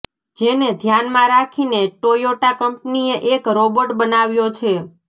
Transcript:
જેને ધ્યાનમાં રાખીને ટોયોટા કંપનીએ એક રોબોટ બનાવ્યો છે